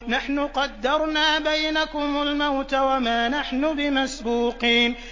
نَحْنُ قَدَّرْنَا بَيْنَكُمُ الْمَوْتَ وَمَا نَحْنُ بِمَسْبُوقِينَ